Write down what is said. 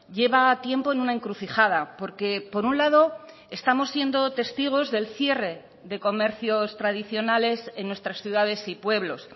lleva tiempo en una encrucijada porque por un lado estamos siendo testigos del cierre de comercios tradicionales en nuestras ciudades y pueblos